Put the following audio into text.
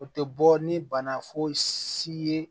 O tɛ bɔ ni bana fosi ye